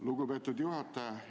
Lugupeetud juhataja!